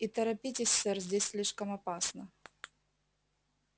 и торопитесь сэр здесь слишком опасно